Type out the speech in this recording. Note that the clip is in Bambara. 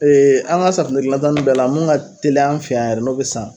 an ka safunɛ gilna ta nun bɛɛ la mun ka teli an fɛ yan yɛrɛ n'o bɛ san